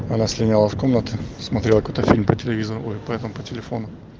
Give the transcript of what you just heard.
она слиняла в комнату смотрела какой-то фильм по телевизору ой по этому по телефону